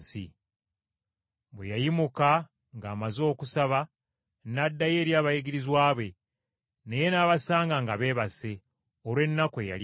Bwe yayimuka ng’amaze okusaba n’addayo eri abayigirizwa be, naye n’abasanga nga beebase, olw’ennaku eyali ebakutte.